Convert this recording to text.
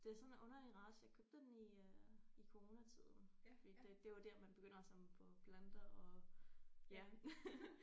Det er sådan en underlig race jeg købte den i øh i coronatiden fordi det det var der man begynder at samle på planter og ja